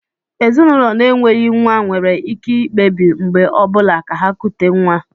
Ezinụlọ na-enweghị nwa nwere ike ikpebi mgbe ọ bụla ka ha kutè nwa